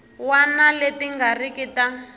wana leti nga riki ta